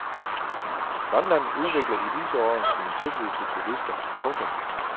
Grønland udvikler i disse år sine tilbud til turister. punktum